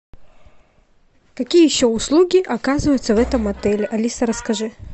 какие еще услуги оказываются в этом отеле алиса расскажи